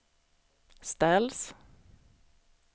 ställs